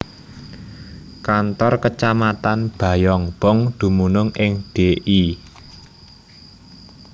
Kantor Kecamatan Bayongbong dumunung ing Dl